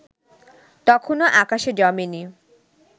তখনো আকাশে জমে নি